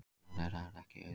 Starf þeirra er ekki auðvelt